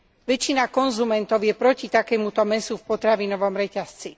Väčšina konzumentov je proti takémuto mäsu v potravinovom reťazci.